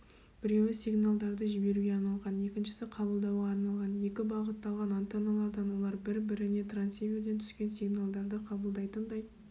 біреуі сигналдарды жіберуге арналған екіншісі қабылдауға арналған екі бағытталған антенналардан олар бір-біріне трансиверден түскен сигналдарды қабылдайтындай